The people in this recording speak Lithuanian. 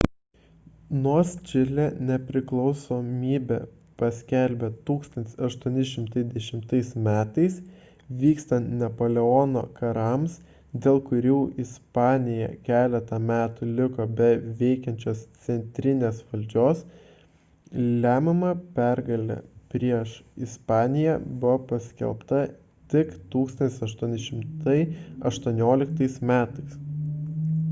nors čilė nepriklausomybę paskelbė 1810 m. vykstant napoleono karams dėl kurių ispanija keletą metų liko be veikiančios centrinės valdžios lemiama pergalė prieš ispaniją buvo pasiekta tik 1818 m